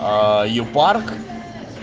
а ю парк